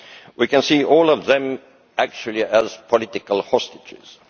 We can see all of them, actually, as political hostages.